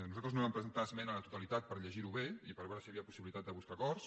nosaltres no vam presentar esmena a la totalitat per llegir ho bé i per veure si hi havia possibilitat de buscar acords